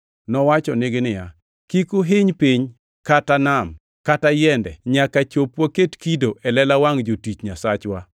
Nowachonigi, “Kik uhiny piny, kata nam, kata yiende nyaka chop waket kido e lela wangʼ jotich Nyasachwa.”